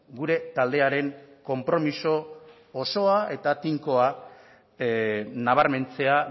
gure taldearen konpromiso osoa eta tinkoa nabarmentzea